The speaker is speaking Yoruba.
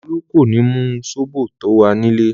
Olú kò ní mu sóbò tó wà nílè.